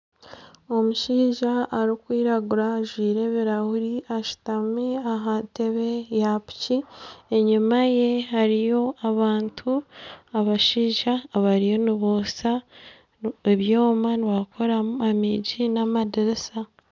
Omushaija arikwiragura ajwire ebirahuri ashutami aha ntebe ya piki enyima ye hariyo abantu abashaija abariyo nibotsya ebyooma nibabikoramu amiigi n'amadirisa.